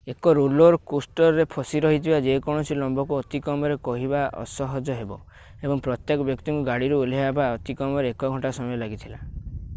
ଏକ ରୋଲର କୋଷ୍ଟରରେ ଫସି ରହିଥିବା ଯେକୌଣସି ଲମ୍ବକୁ ଅତି କମରେ କହିବା ଅସହଜ ହେବ ଏବଂ ପ୍ରଥମେ ବ୍ୟକ୍ତିଙ୍କୁ ଗାଡ଼ିରୁ ଓହ୍ଲାଇବାକୁ ଅତି କମରେ ଏକ ଘଣ୍ଟା ସମୟ ଲାଗିଥିଲା